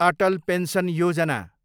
Atal pension Yojana